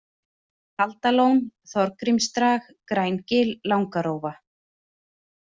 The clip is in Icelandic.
Kaldalón, Þorgrímsdrag, Grængil, Langarófa